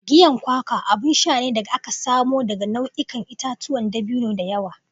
Giyan kwakwa abun sha ne da aka samo daga nau'ikan itatuwan dabino da yawa.